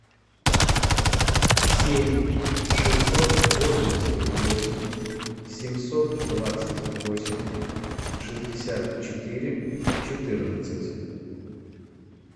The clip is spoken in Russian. семь шестьсот восемьдесят восемь семьсот двадцать восемь шестьдесят четыре четырнадцать